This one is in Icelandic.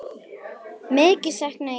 Mikið sakna ég þín sárt.